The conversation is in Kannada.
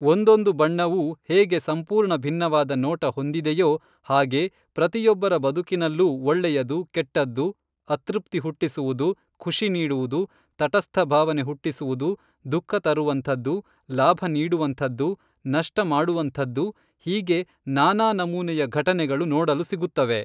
ಒಂದೊಂದು ಬಣ್ಣವೂ ಹೇಗೆ ಸಂಪೂರ್ಣ ಭಿನ್ನವಾದ ನೋಟ ಹೊಂದಿದೆಯೋ ಹಾಗೆ ಪ್ರತಿಯೊಬ್ಬರ ಬದುಕಿನಲ್ಲೂ ಒಳ್ಳೆಯದು, ಕೆಟ್ಟದ್ದು, ಅತೃಪ್ತಿ ಹುಟ್ಟಿಸುವುದು, ಖುಷಿ ನೀಡುವುದು, ತಟಸ್ಥ ಭಾವನೆ ಹುಟ್ಟಿಸುವುದು, ದುಃಖ ತರುವಂಥದ್ದು, ಲಾಭ ನೀಡುವಂಥದ್ದು, ನಷ್ಟ ಮಾಡುವಂಥದ್ದು ಹೀಗೆ ನಾನಾ ನಮೂನೆಯ ಘಟನೆಗಳು ನೋಡಲು ಸಿಗುತ್ತವೆ.